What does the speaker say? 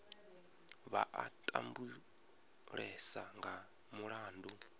vha a tambulesa nga mulandu